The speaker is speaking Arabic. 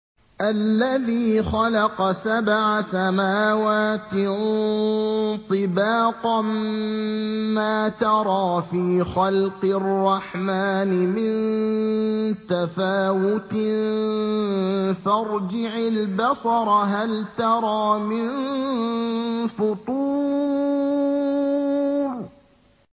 الَّذِي خَلَقَ سَبْعَ سَمَاوَاتٍ طِبَاقًا ۖ مَّا تَرَىٰ فِي خَلْقِ الرَّحْمَٰنِ مِن تَفَاوُتٍ ۖ فَارْجِعِ الْبَصَرَ هَلْ تَرَىٰ مِن فُطُورٍ